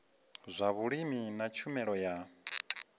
zwa vhulimi na tshumelo ya